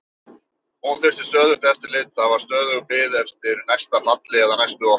Hún þurfti stöðugt eftirlit, það var stöðug bið eftir næsta falli eða næstu roku.